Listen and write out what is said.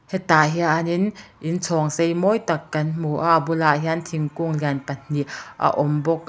hetah hianin in chhawng sei mawi tak kan hmu a a bulah hian thingkung lian pahnih a awm bawk a.